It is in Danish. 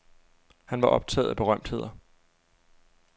Han var optaget af berømtheder.